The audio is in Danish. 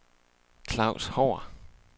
Klaus Haahr